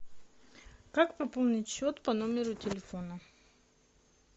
как пополнить счет по номеру телефона